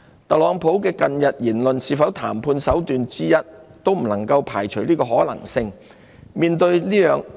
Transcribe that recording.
特朗普近日的言論是否談判手段之一，可能性不能排除。